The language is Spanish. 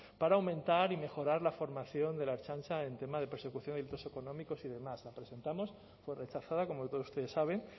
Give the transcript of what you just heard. para aumentar y mejorar la formación de la ertzaintza en tema de persecución de delitos económicos y demás la presentamos fue rechazada como todos ustedes saben